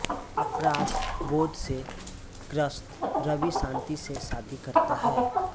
अपराधबोध से ग्रस्त रवि शान्ति से शादी करता है